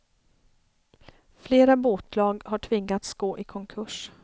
Flera båtlag har tvingats gå i konkurs.